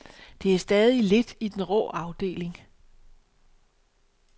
Det er stadig lidt i den rå afdeling.